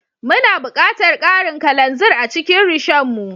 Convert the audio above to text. Muna buƙatar karin kalanzir a cikin Rishon mu